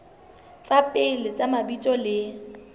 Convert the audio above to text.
tsa pele tsa mabitso le